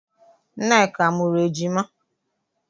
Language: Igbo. Nneka amụrụ ejima?